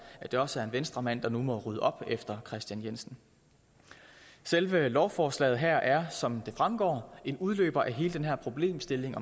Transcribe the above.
at det også er en venstremand der nu må rydde op efter daværende kristian jensen selve lovforslaget her er som det fremgår en udløber af hele den her problemstilling